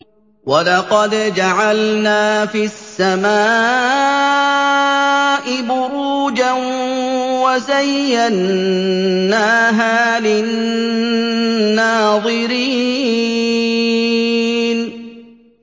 وَلَقَدْ جَعَلْنَا فِي السَّمَاءِ بُرُوجًا وَزَيَّنَّاهَا لِلنَّاظِرِينَ